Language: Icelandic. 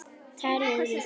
Talið við þá.